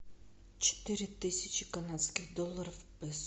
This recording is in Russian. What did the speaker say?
четыре тысячи канадских долларов в песо